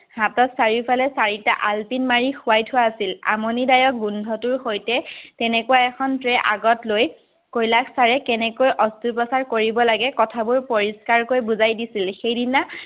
হাতত চাৰিওফালে চাৰিটা আলপিন মাৰি শুৱাই থোৱা আছিল। আমনিদায়ক গোন্ধটোৰ সৈতে তেনেকুৱা এখন tray আগত লৈ কৈলাশ চাৰে কেনেকৈ অস্ত্ৰোপচাৰ কৰিব লাগে, কথাবোৰ পৰিস্কাৰকৈ বুজাই দিছিল। সেইদিনা